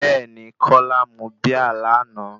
Bẹ́ẹ̀ni, kola mú Bíà lánàá.